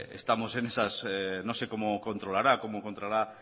estamos en esas no sé cómo controlará cómo encontrará